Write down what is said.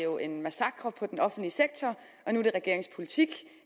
år var en massakre på den offentlige sektor nu er regeringens politik